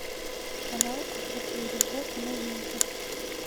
канал охота и рыбалка новинки